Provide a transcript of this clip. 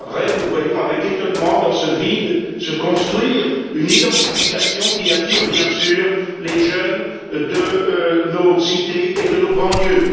Nous voyons ensuite avec étonnement, dans ce vide, se construire une identification qui attire bien sûr les jeunes de nos cités et de nos banlieues.